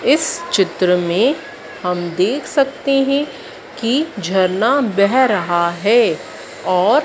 इस चित्र में हम देख सकते हैं कि झरना बह रहा है और--